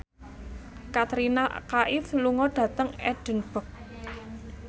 Katrina Kaif lunga dhateng Edinburgh